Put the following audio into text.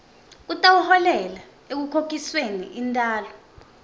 kutawuholela ekukhokhisweni intalo